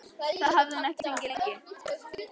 Það hafði hún ekki fengið lengi.